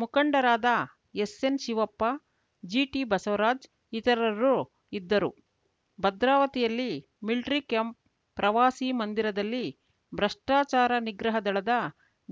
ಮುಖಂಡರಾದ S N Shivappa G T Basavaraj ಇತರರು ಇದ್ದರು ಭದ್ರಾವತಿಯಲ್ಲಿ ಮಿಲ್ಟ್ರಿಕ್ಯಾಂಪ್‌ ಪ್ರವಾಸಿ ಮಂದಿರದಲ್ಲಿ ಭ್ರಷ್ಟಾಚಾರ ನಿಗ್ರಹ ದಳದ